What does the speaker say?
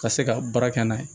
Ka se ka baara kɛ n'a ye